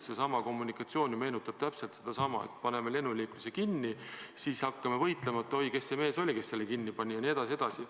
Seesama kommunikatsioon meenutab ju täpselt sedasama: paneme lennuliikluse kinni, siis hakkame võitlema, et oi, kes see mees oli, kes selle kinni pani jne.